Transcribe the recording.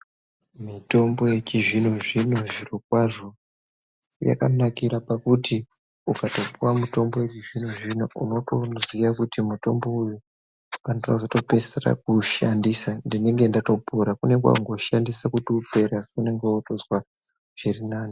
Mitombo yechizvino zvino zviro kwazvo yakanakira pakuti ukatopuwa mitombo yechizvino zvino unotoziya kuti mutombo uyu pandootopeisa kuushandisa ndinenge ndatopora ,kwakutoshandisa kuti upere asi unenge wotozwa zviri nane.